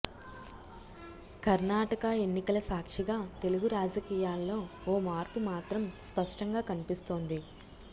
కర్ణాటక ఎన్నికల సాక్షిగా తెలుగు రాజకీయాల్లో ఓ మార్పు మాత్రం స్పష్టంగా కనిపిస్తోంది